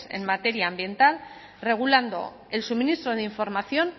en materia ambiental regulando el suministro de información